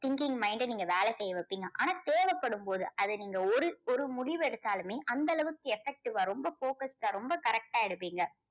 thinking mind அ நீங்க வேலை செய்ய வைப்பீங்க. ஆனால் தேவைப்படும் போது அது நீங்க ஒரு ஒரு முடிவு எடுத்தாலுமே அந்த அளவுக்கு effective வா ரொம்ப perfect டா correct டா எடுப்பீங்க.